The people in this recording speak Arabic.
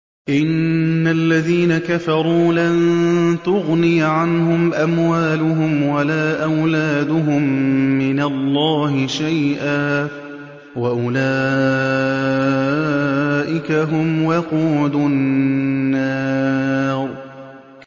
إِنَّ الَّذِينَ كَفَرُوا لَن تُغْنِيَ عَنْهُمْ أَمْوَالُهُمْ وَلَا أَوْلَادُهُم مِّنَ اللَّهِ شَيْئًا ۖ وَأُولَٰئِكَ هُمْ وَقُودُ النَّارِ